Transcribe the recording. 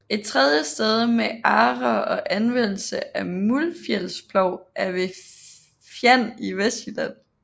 Et tredje sted med agre og anvendelse af muldfjælsplov er ved Fjand i Vestjylland